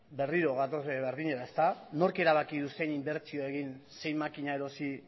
berriro gatoz berdinera nork erabaki du zein inbertsio egin zein makina erosi